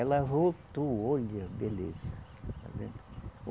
Ela voltou, olha, beleza. Está vendo